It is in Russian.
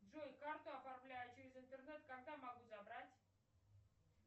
джой карту оформляла через интернет когда могу забрать